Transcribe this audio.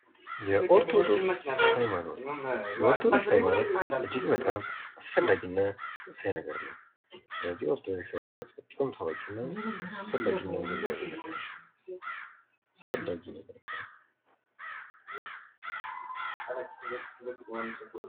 ሃይማኖት የሰዎችን መንፈሳዊ እምነት፣ የአምልኮ ሥርዓትና የሞራል መመሪያዎችን የሚያካትት ውስብስብ ክስተት ነው።